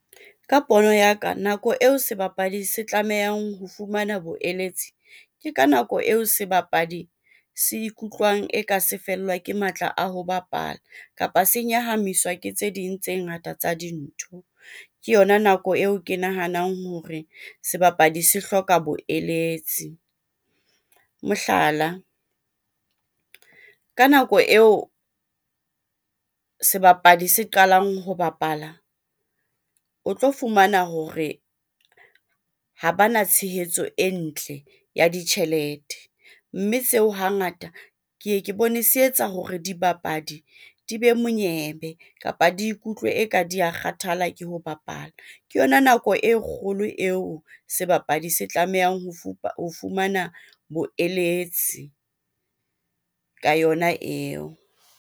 Ka pono ya ka, nako eo sebapadi se tlamehang ho fumana boeletsi ke ka nako eo sebapadi se ikutlwang e ka se fellwa ke matla a ho bapala kapa se nyahamiswa ke tse ding tse ngata tsa dintho. Ke yona nako eo ke nahanang hore sebapadi se hloka bo eletsi. Mohlala, ka nako eo sebapadi se qalang ho bapala o tlo fumana hore ha bana tshehetso e ntle ya ditjhelete, mme seo hangata ke ye ke bone se etsa hore dibapadi di be monyebe kapa di ikutlwe eka di a kgathala ke ho bapala. Ke yona nako e kgolo eo sebapadi se tlamehang ho ho fumana boeletsi ka yona eo.